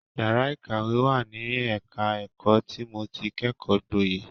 Yàrá ìkàwé wà ní ẹ̀ka ẹ̀kọ́ tí mo ti kẹ́kọ̀ọ́ gboyè.